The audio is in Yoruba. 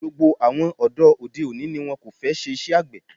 Gbogbo àwọn ọ̀dọ́ òde òní ni wón kò fẹ́ ṣe iṣẹ́ àgbè.